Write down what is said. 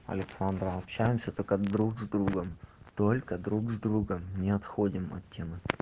александра общаемся только друг с другом только друг с другом не отходим от темы